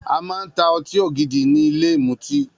A màa ń tà ọtí ògidì ni ìlé ìmútì.